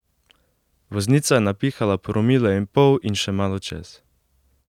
Voznica je napihala promile in pol in še malo čez!